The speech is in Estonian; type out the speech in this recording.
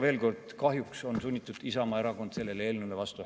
Veel kord: kahjuks on Isamaa Erakond sunnitud hääletama selle eelnõu vastu.